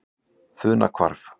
Funahvarfi